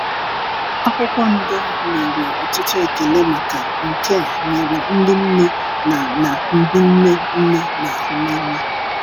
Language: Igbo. akwụkwo ndọ nyere ọtụtụ ekele maka nke a nyere ndi nne na na ndi nne nne n'ahụ n'anya